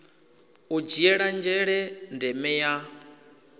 u dzhiela nzhele ndeme ya